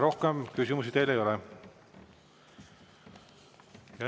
Rohkem küsimusi teile ei ole.